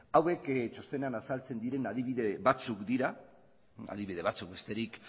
hauek txostenean azaltzen diren adibide batzuk dira adibide batzuk besterik